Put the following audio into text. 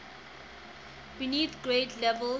beneath grade levels